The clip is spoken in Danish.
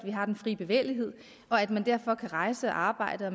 at vi har den frie bevægelighed og at man derfor kan rejse og arbejde og